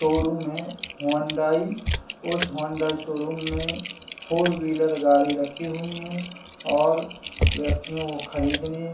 showroom है Hyundai उस Hyundai showroom में फोर व्हीलर गाड़ी रखी हुई है और व्यक्तियों खरीदने --